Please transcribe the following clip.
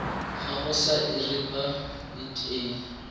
gago sa irp it a